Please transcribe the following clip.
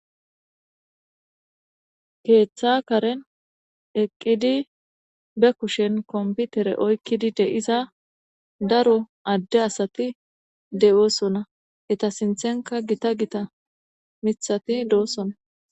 Keeththa karen eqqidi be kushen kompithere oykkidi de7iza daro adde asathi de7oosona; hetha sinththenkka githa githa miththathi doosona.